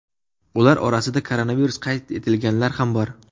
Ular orasida koronavirus qayd etilganlar ham bor.